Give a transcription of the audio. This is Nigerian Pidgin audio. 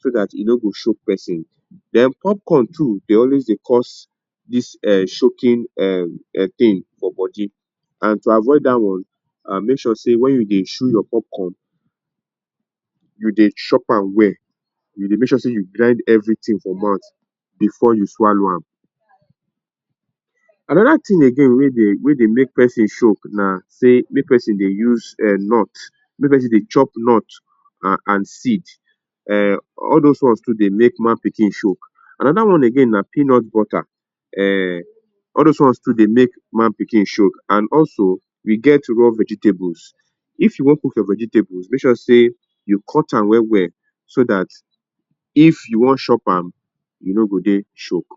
so dat e no go choke person. Then popcorn too dey always dey cause dis um choking um thing for body and to avoid dat one make sure sey wen you dey chew your popcorn you dey chop am well. You dey make sure sey you grind everything for mouth before you swallow am. Another thing again wey dey wey dey make person choke na say make person dey use um nut, make persin dey chop nut and seed. Um all those ones too dey make man pikin choke. Another one again na peanut butter, um all those ones too dey make man pikin choke and also we get raw vegetables. If you want cook your vegetables, make sure sey you cut am well well so dat if you wan chop am you no go dey choke.